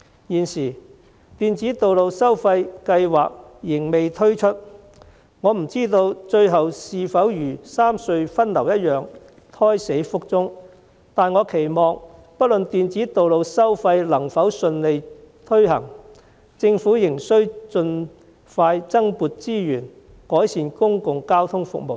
現時，電子道路收費計劃仍未推出，我不知道該計劃最後是否如三隧分流一樣，胎死腹中，但我期望不論電子道路收費能否順利推行，政府仍能盡快增撥資源，改善公共交通服務。